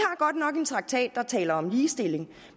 godt nok en traktat der taler om ligestilling